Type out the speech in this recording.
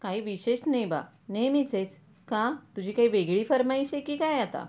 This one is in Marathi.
काही विशेष नाही बा नेहमीचेच का तुझी काही वेगळी फर्माइश आहे कि काय आता